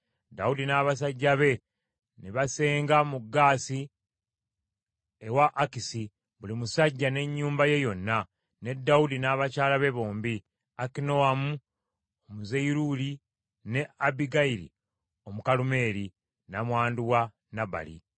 Dawudi n’abasajja be ne basenga mu Gaasi ewa Akisi, buli musajja ne nnyumba ye yonna, ne Dawudi n’abakyala be bombi, Akinoamu Omuyezuleeri ne Abbigayiri Omukalumeeri, nnamwandu wa Nabali.